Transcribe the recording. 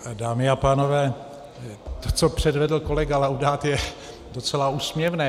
Dámy a pánové, to, co předvedl kolega Laudát, je docela úsměvné.